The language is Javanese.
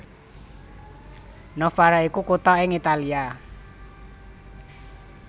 Novara iku kutha ing Italia